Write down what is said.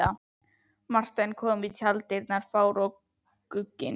Marteinn kom í tjalddyrnar fár og gugginn.